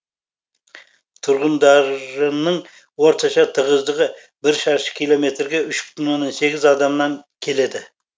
тұрғындар ының орташа тығыздығы бір шаршы километрге үш бүтін оннан сегіз адамнан келеді